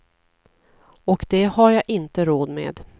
Och det har jag inte råd med.